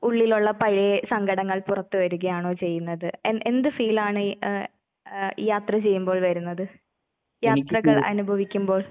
ഉള്ളിലൊള്ള പഴയെ സങ്കടങ്ങൾ പുറത്തു വരികയാണോ ചെയ്യുന്നത്, എൻ എന്ത് ഫീലാണ് എഹ് എഹ് യാത്രാ ചെയ്യുമ്പോൾ വരുന്നത്? യാത്രകൾ അനുഭവിക്കുമ്പോൾ?